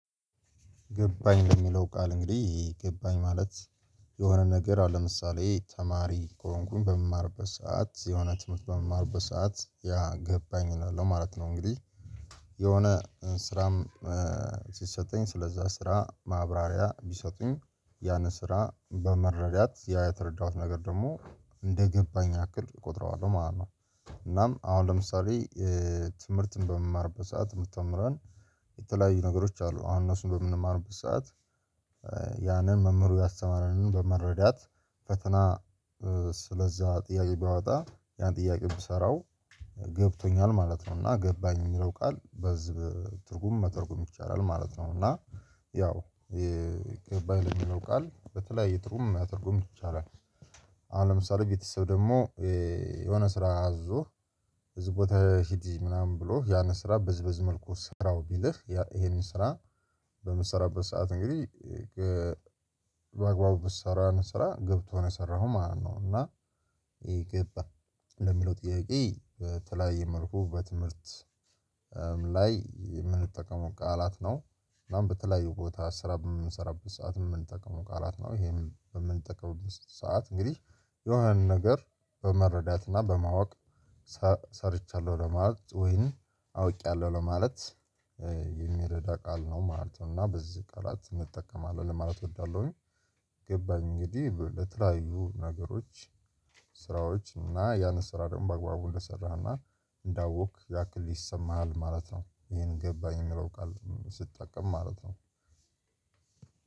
ገባኝ ለሚለው ቃል እንግዲህ ገባኝ ማለት የሆነ ነገር አሁን ለምሳሌ ተማሪ ከሆንኩኝ በምማርበት ሰዓት የሆነ ትምህርት በምማርበት ሰዓት ያ ገባኝ እላለሁ ማለት ነው እንግዲህ የሆነ ስራም ሲሰጠኝ ስለዛ ስራ ማብራሪያ ቢሰጡኝ ያንን ስራ በመረዳት ያ የተረዳሁት ነገር ደግሞ እንደገባኝ ያክል እቆጥረዋለሁ ማለት ነው። እናም አሁን ለምሳሌ ትምህርትን በምንማርበት ሰዓት የምትተምረን የተለያዩ ነገሮች አሉ አሁን እነሱን በምንማርበት ሰዓት። ያንን መምህሩ ያስተማረንን በመረዳት ፈተና ስለዛ ጥያቄ ቢያወጣ ያን ጥያቄ ብሰራው ገብቶኛል ማለት ነው። እና ገባኝ የሚለው ቃል በዝብ ትርጉም መተርጉም ይቻላል ማለት ነው። እና ያው ገባኝ ለሚለው ቃል በተለያየ ትርጉም ማተርጎም ይቻላል። አሁን ለምሳሌ ቤተሰብ ደግሞ የሆነ ስራ አዞህ ብዙ ሂድስ ምናምን ብሎ ያንን ስራ ብዝበዝ መልኩ ስራው ቢልህ ይሄንን ስራ በምትሰራበት ሰዓት እንግዲህ በአግባቡ በሰራዋን ስራ ገብቶ ነው የሰራኸው ማለት ነው። እና ይገባል ለሚለው ጥያቄ በተለያየ መልኩ በትምህርት ላይ የምንጠቀመው ቃላት ነው። እናም በተለያዩ ቦታ ስራ የምንሰራበት ሰዓት የምንጠቀመው ቃላት ነው ይሄን በምንጠቀምበት ሰዓት እንግዲህ የሆነንን ነገር በመረዳት እና በማወቅ ሰርቻለሁ ለማለት ወይን አውቄያለሁ ለማለት የሚረዳ ቃል ነው ማለት ነው። እና በዚህ ቃላት እጠቀማለሁ ለማለት እወዳለሁኝ። ገባኝ እንግዲህ ለተለያዩ ነገሮች ስራዎች እና ያንን ስራ ደግሞ በአግባቡ እንደሰራህ እና እንዳወቅክ ያክል ይሰማሃል ማለት ነው ይሄን ገባኝ የሚለው ቃል ስትጠቀም ማለት ነው።